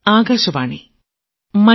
പ്രധാനമന്ത്രി ശ്രീ